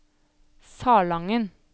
Salangen